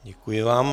Děkuji vám.